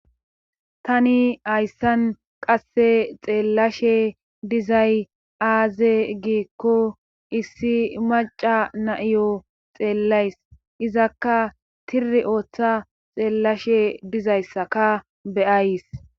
Tani hayssan qasse xeellashe dizay aaze giikko issi maca naiyo xeellays izakka tiri ooththa xeellashe dizayssaka beyays